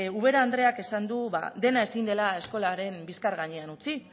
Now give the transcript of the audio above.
ubera andreak esan du dena ezin dela eskolaren bizkar gainean utzi